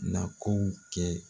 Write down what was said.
Na ko'u kɛ.